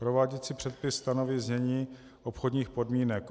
Prováděcí předpis stanoví znění obchodních podmínek.